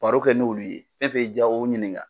Baro kɛ n'olu ye fɛn o fɛn ja o ɲininka.